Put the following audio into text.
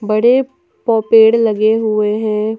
बड़े पो पेड़ लगे हुए हैं।